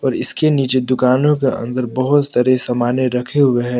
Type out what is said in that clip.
इसके नीचे दुकानों के अन्दर बहोत सारे समाने रखे हुए हैं।